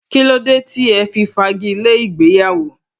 Kílódé tí ẹ fi fagi lé ìgbéyàwó?